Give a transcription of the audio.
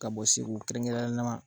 Ka bɔ se kɛrɛn nama